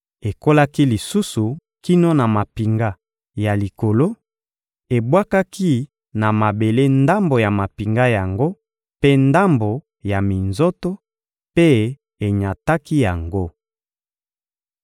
Ekolaki lisusu kino na mampinga ya likolo, ebwakaki na mabele ndambo ya mampinga yango mpe ndambo ya minzoto, mpe enyataki yango.